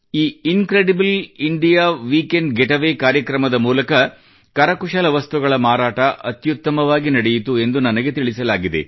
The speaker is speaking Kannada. ಈ incredible India weekend gateway ಕಾರ್ಯಕ್ರಮದ ಮೂಲಕ ಕರಕುಶಲ ವಸ್ತುಗಳ ಮಾರಾಟ ಅತ್ಯುತ್ತಮವಾಗಿ ನಡೆಯಿತು ಎಂದು ನನಗೆ ತಿಳಿಸಲಾಗಿದೆ